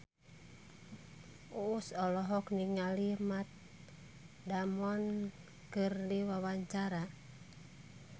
Uus olohok ningali Matt Damon keur diwawancara